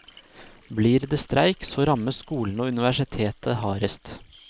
Blir det streik, så rammes skolene og universitetet hardest.